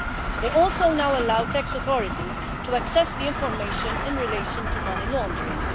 They also now allow tax authorities to access the information in relation to money laundering.